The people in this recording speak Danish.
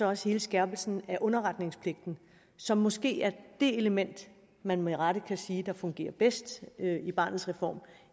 også hele skærpelsen af underretningspligten som måske er det element man med rette kan sige fungerer bedst i barnets reform